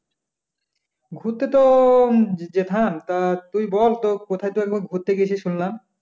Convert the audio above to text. ঘুরতে তো উম যেতাম তা তুই বল তো কোথাও ঘুরতে গিয়েছিস শুনলাম